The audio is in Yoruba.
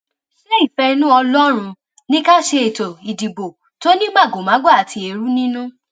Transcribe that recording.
ṣe ìfẹinú ọlọrun ní ká ṣètò ìdìbò tó ní màgòmágó àti èrú nínú